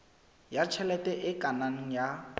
ya tjhelete e kenang ya